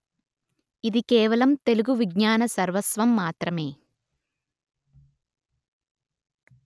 ఇది కేవలం తెలుగు విజ్ఞాన సర్వస్వం మాత్రమే